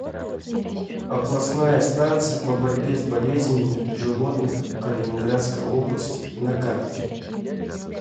областная станция по борьбе с болезнями животных калининградской области на карте